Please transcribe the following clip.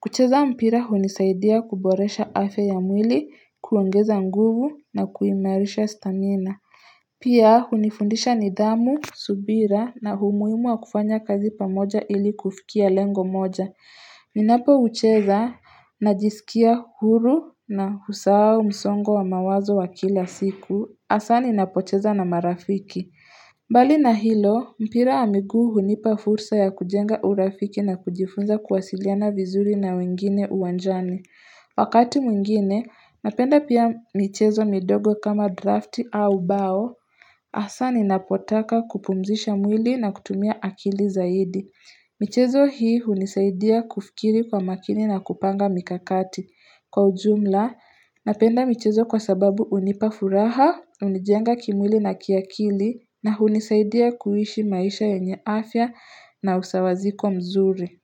Kucheza mpira hunisaidia kuboresha afya ya mwili, kuongeza nguvu, na kuimarisha stamina. Pia hunifundisha nidhamu, subira na humuimu wa kufanya kazi pamoja ili kufikia lengo moja. Ninapo ucheza na jisikia huru na husau msongo wa mawazo wa kila siku, hasani napocheza na marafiki. Mbali na hilo, mpira wa miguu hunipa fursa ya kujenga urafiki na kujifunza kuwasiliana vizuri na wengine uwanjani. Wakati mwingine, napenda pia michezo midogo kama drafti au bao, hasa ninapotaka kupumzisha mwili na kutumia akili zaidi. Michezo hii unisaidia kufikiri kwa makini na kupanga mikakati. Kwa ujumla, napenda michezo kwa sababu unipafuraha, unijenga kimwili na kiakili na unisaidia kuishi maisha yenye afya na usawaziko mzuri.